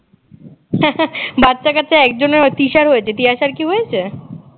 বাচ্চা কাচ্চা একজনের হয়েছে তৃষার হয়েছে তিয়াসার কি হয়েছে